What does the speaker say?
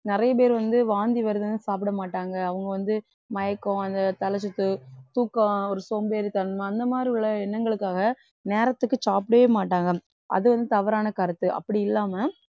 நிறைய பேர் வந்து வாந்தி வருதுன்னு சாப்பிடமாட்டாங்க அவங்க வந்து மயக்கம் அந்த தலைசுத்து தூக்கம் ஒரு சோம்பேறித்தனம் அந்த மாதிரி உள்ள எண்ணங்களுக்காக நேரத்துக்கு சாப்பிடவே மாட்டாங்க அதுவந்து தவறான கருத்து அப்பிடியில்லாம